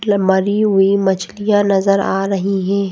मरी हुई मछलियां नजर आ रही हैं।